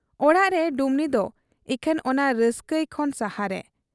ᱚᱲᱟᱜᱨᱮ ᱰᱩᱢᱱᱤᱫᱚ ᱤᱠᱷᱟᱹᱱ ᱚᱱᱟ ᱨᱟᱹᱥᱠᱟᱹᱭ ᱠᱷᱚᱱ ᱥᱟᱦᱟᱨᱮ ᱾